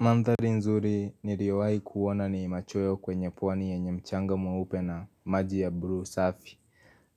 Mandhari nzuri ni riowai kuona ni machoyo kwenye pwani yenye mchanga mweupe na maji ya blue safi